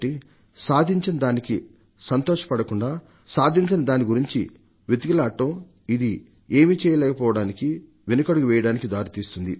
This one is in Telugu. సాధించిన దానికి సంతోషపడకుండా సాధించని దాని గురించి వెతుకులాడటం ఇది ఏమీ చేయలేకపోవడానికి వెనుకడుగు వేయడానికి దారి తీస్తుంది